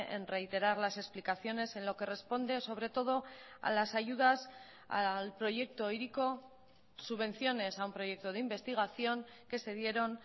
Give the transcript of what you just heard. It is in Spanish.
en reiterar las explicaciones en lo que responde sobre todo a las ayudas al proyecto hiriko subvenciones a un proyecto de investigación que se dieron